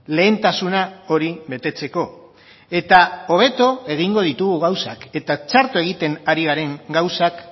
lehentasuna hori betetzeko eta hobeto egingo ditugu gauzak eta txarto egiten ari garen gauzak